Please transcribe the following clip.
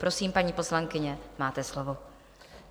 Prosím, paní poslankyně, máte slovo.